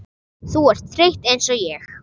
Þú ert þreytt einsog ég.